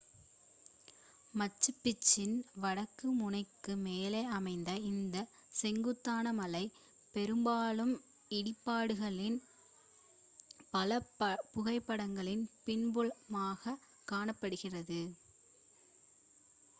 மச்சு பிச்சுவின் வடக்கு முனைக்கு மேலே அமைந்த இந்த செங்குத்தான மலை பெரும்பாலும் இடிபாடுகளின் பல புகைப்படங்களில் பின்புலமாக காணப்படுகிறது